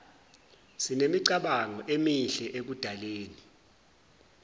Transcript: sinemicabango emihle ekudaleni